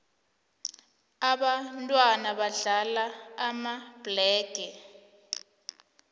ababntwana badlala amabhlege